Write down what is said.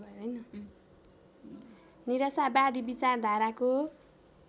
निराशावादी विचारधाराको